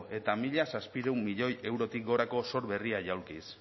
eta mila zazpiehun milioi eurotik gorako zor berria jaulkiz